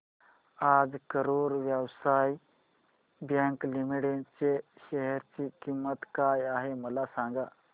आज Karur Vysya bank limited च्या share ची किंमत काय आहे मला सांगा